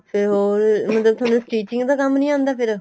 ਫੇਰ ਹੋਰ ਮਤਲਬ ਤੁਹਾਨੂੰ stitching ਕੰਮ ਨੀਂ ਆਉਂਦਾ ਫੇਰ